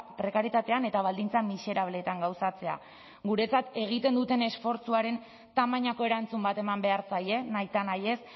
prekarietatean eta baldintza miserableetan gauzatzea guretzat egiten duten esfortzuaren tamainako erantzun bat eman behar zaie nahitanahiez